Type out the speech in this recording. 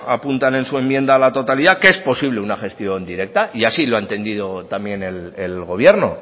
apuntan en su enmienda a la totalidad que es posible una gestión directa y así lo ha entendido también el gobierno